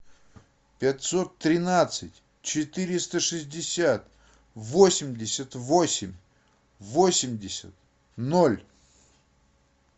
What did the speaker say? пятьсот тринадцать четыреста шестьдесят восемьдесят восемь восемьдесят ноль